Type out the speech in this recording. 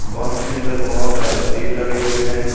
बस के अंदर बहोत सारे सीट लगे हुए है।